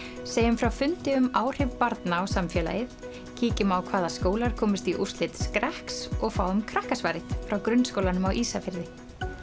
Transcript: segjum frá fundi um áhrif barna á samfélagið kíkjum á hvaða skólar komust í úrslit skrekks og fáum frá grunnskólanum á Ísafirði